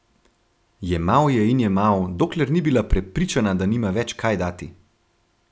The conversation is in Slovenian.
Jemal je in jemal, dokler ni bila prepričana, da nima več kaj dati.